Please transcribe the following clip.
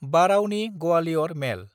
Barauni-Gwalior मेल